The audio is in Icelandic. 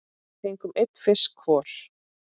Við fengum einn fisk hvor.